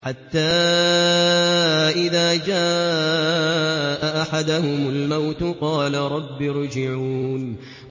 حَتَّىٰ إِذَا جَاءَ أَحَدَهُمُ الْمَوْتُ قَالَ رَبِّ ارْجِعُونِ